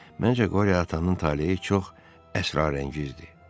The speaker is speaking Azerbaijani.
Məncə Qorya atanın taleyi çox əsrarəngizdir.